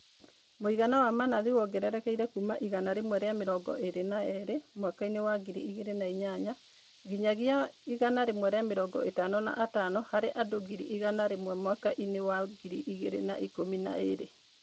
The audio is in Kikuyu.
Mũigana wa manathi wongererekeire kuuma 122 mwaka inĩ wa 2008 nginyagia 155 harĩ andũ ngiri igana rĩmwe mwaka inĩ wa 2012